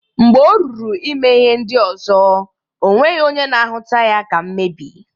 Mgbe oruru ime ihe ndi ozo o nweghi onye na ahuta ya ka mmebi.